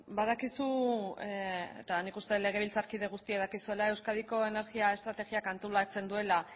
badakizu eta nik uste dut legebiltzarkide guztiak dakizuela euskadiko energia estrategiak antolatzen duela